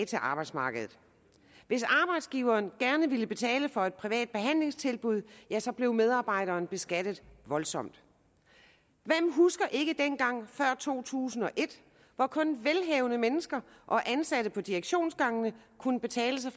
til arbejdsmarkedet hvis arbejdsgiveren gerne ville betale for et privat behandlingstilbud ja så blev medarbejderen beskattet voldsomt hvem husker ikke dengang før to tusind og et hvor kun velhavende mennesker og ansatte på direktionsgangene kunne betale sig